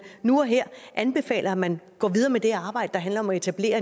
nu og her anbefaler at man går videre med det arbejde der handler om at etablere